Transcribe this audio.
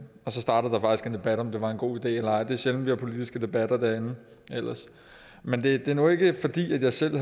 debat om hvorvidt det var en god idé eller ej det sjældent vi har politiske debatter derinde men det er nu ikke fordi jeg selv i